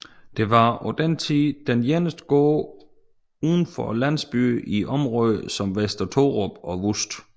Det var på den tid den eneste gård udenfor landsbyerne i området som Vester Thorup og Vust